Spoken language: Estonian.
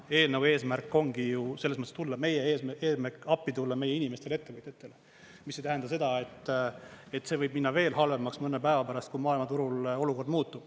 Eelnõu eesmärk ongi ju selles mõttes appi tulla meie inimestele, ettevõtetele, mis ei tähenda seda, et see võib minna veel halvemaks mõne päeva pärast, kui maailmaturul olukord muutub.